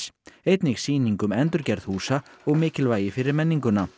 einnig sýning um endurgerð húsa og mikilvægi fyrir menninguna